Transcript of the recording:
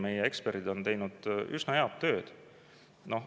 Meie eksperdid on teinud üsna head tööd.